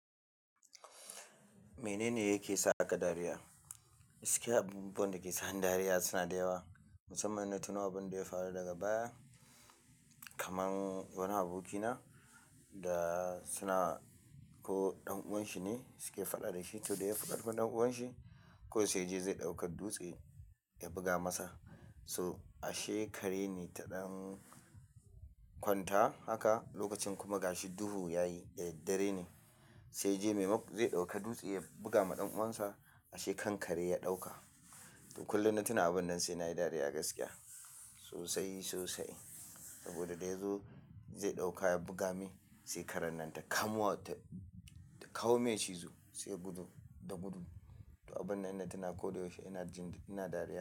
Menene yake sa ka dariya? Gaskiya abubuwan da ke sa ni dariya suna da yawa, musamman ina tuna abin da ya faru daga baya. Kaman wani abokina da suna ko ɗan uwanshi ne suke faɗa da shi to dai ya faɗa kunne ɗan uwanshi ko sai ji zai ɗauki dutse ya buga masa. So ashe kare ne taɗan kwanta haka lokacin kuma gashi duhu yayi da daddare ne, sai ji maimaku zai ɗauka dutse ya buga ma ɗan uwansa ashe kankare ya ɗauka. To kullum na tuna abun nan sai na yi dariya gaskiya sosai, sosai. Saboda da yazo zai ɗauka ya buga me sai karen nan ta kamuwa ta kawo mai cizo sai ya gudu, da gudu. To abun nan ina tuna ko da yaushe ina jin ina dariya.